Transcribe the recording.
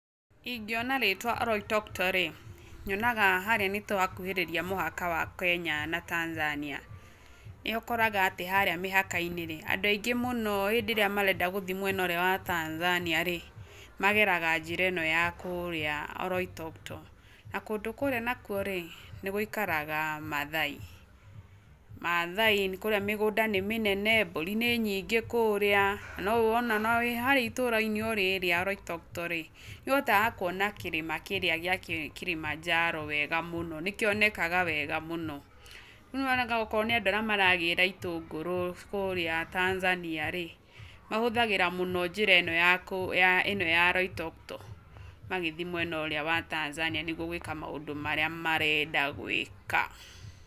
Ingĩona rĩtwa Oloitoktok-rĩ, nyonaga harĩa nĩ twakuhĩrĩria mũhaka wa Kenya na Tanzania, nĩ ũkoraga atĩ harĩa mĩhaka-inĩ andũ aingĩ mũno hĩndĩ ĩrĩa marenda gũthiĩ mwena ũrĩa wa Tanzania-rĩ, mageraga njĩra ĩno ya kũrĩa oloitoktok, na kũndũ kũrĩa nakuo-rĩ nĩ gũikaraga Mathai, Mathai, kũria mĩgũnda nĩ mĩnene, mbũri nĩ nyingĩ kũrĩa, na wĩ harĩa itũra rĩrĩa Oloitoktok-rĩ, nĩ uhota kuona kĩrĩma kĩrĩa gĩa Kilimanjaro wega mũno nĩ kĩonekaga wega mũno. Rĩu okorwo nĩ andũ arĩa maragĩra itũngũrũ kũrĩa Tanzania-rĩ, mahũthagĩra mũno njĩra ĩno ya Oloitoktok, magĩthiĩ mwena ũrĩa wa Tanzanaia nĩguo gwĩka maũndũ marĩa marenda gwĩka.